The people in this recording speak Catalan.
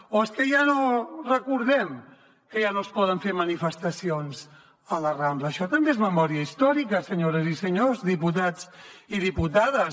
o és que ja no recordem que ja no es poden fer manifestacions a la rambla això també és memòria històrica senyores i senyors diputats i diputades